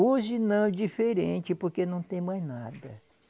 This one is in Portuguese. Hoje não, é diferente, porque não tem mais nada.